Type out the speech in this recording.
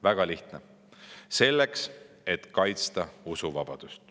Väga lihtne: selleks, et kaitsta usuvabadust.